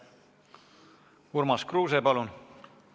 Urmas Kruuse, palun!